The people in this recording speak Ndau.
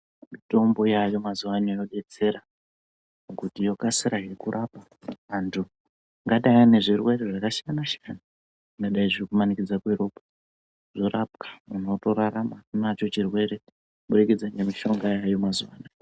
Mitombo yaayo mazuwano yodetsera kuti yokasira hre kurapa antu angadai ane zvirwere zvakasiyana siyana zvingadai zviri kumanikidza ....kuzorapwa muntu otorarama anacho chirwere kuburikidza nemushonga yaayo mazuwano.